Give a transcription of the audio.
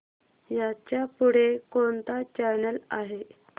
ह्याच्या पुढे कोणता चॅनल आहे